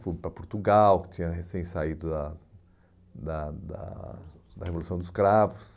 Fui para Portugal, que tinha recém saído da da da da Revolução dos Cravos.